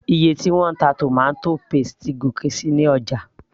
iye tí wọ́n ń ta tomato paste ti gòkè síi ní ọjà